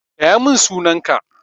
Gaya min sunan ka!